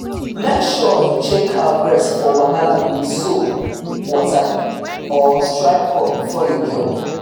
make sure you check cow breast for wahala with soap water or strip cup before you milk